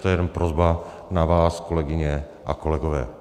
To je jen prosba na vás, kolegyně a kolegové.